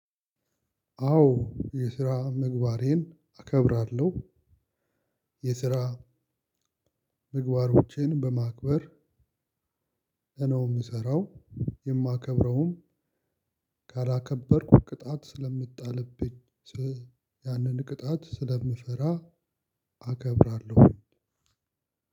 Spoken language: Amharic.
አዎ የስራ ምግባሬን አከብራለሁ። የስራ ምግባሮቼን በማክበር ነው ምሰራው። የማከብረውም ካላከበርኩ ቅጣት ስለሚጣልብኝ ስለ ያንን ቅጣት ስለምፈራ። አከብራለሁ